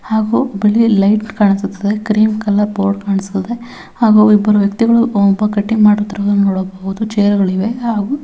ಹಾಗು ಬಿಳಿ ಲೈಟ್ ಕಾಣಿಸುತ್ತದೆ ಕ್ರೀಮ್ ಕಲರ್ ಬೋರ್ಡ್ ಕಾಣಿಸುತ್ತಿದೆ ಹಾಗು ಇಬ್ಬರು ವ್ಯಕ್ತಿಗಳು ಒಬ್ಬ ಕಟ್ಟಿಂಗ್ ಮಾಡುತ್ತಿರುವುದು ನೋಡಬಹುದು ಚೈರ್ ಗಳಿವೆ ಹಾಗು --